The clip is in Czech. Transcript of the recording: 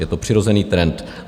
Je to přirozený trend.